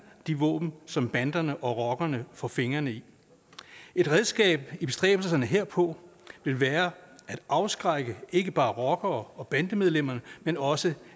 de våben som banderne og rockerne får fingre i et redskab i bestræbelserne herpå vil være at afskrække ikke bare rockere og bandemedlemmerne men også